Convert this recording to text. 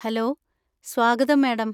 Hello, സ്വാഗതം, madam.